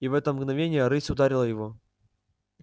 и в это мгновение рысь ударила его